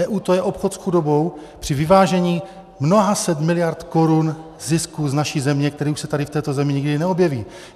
EU - to je obchod s chudobou při vyvážení mnoha set miliard korun zisku z naší země, který už se tady v této zemi nikdy neobjeví.